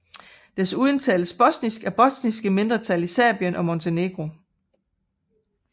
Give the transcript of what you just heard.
Desuden tales bosnisk af bosniske mindretal i Serbien og Montenegro